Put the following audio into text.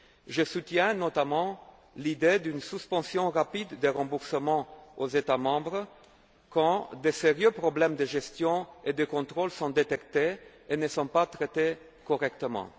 sujets. Je soutiens notamment l'idée d'une suspension rapide des remboursements aux États membres quand de sérieux problèmes de gestion et de contrôle sont détectés et ne sont pas traités correctement.